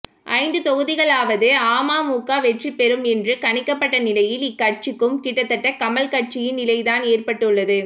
ஐந்து தொகுதிகளிலாவது அமமுக வெற்றி பெறும் என்று கணிக்கப்பட்ட நிலையில் இக்கட்சிக்கும் கிட்டத்தட்ட கமல் கட்சியின் நிலைதான் ஏற்பட்டுள்ளது